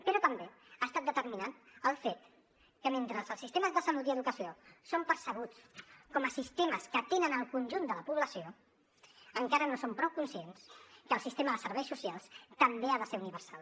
però també ha estat determinant el fet que mentre els sistemes de salut i educació són percebuts com a sistemes que atenen el conjunt de la població encara no som prou conscients que el sistema de serveis socials també ha de ser universal